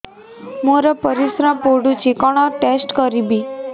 ମୋର ପରିସ୍ରା ପୋଡୁଛି କଣ ଟେଷ୍ଟ କରିବି